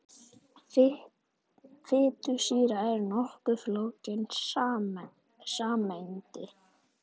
Fitusýra er nokkuð flókin sameind.